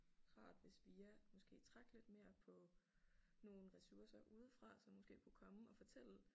Rart hvis vi ja måske trak lidt mere på nogle ressourcer udefra som måske kunne komme og fortælle